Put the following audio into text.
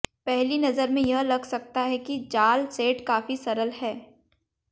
पहली नज़र में यह लग सकता है कि जाल सेट काफी सरल है